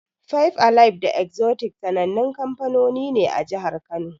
Five alive da Exotic sanannun kamfanoni ne a jihar Kano.